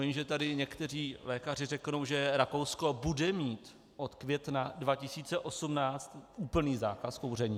Vím, že tady někteří lékaři řeknou, že Rakousko bude mít od května 2018 úplný zákaz kouření.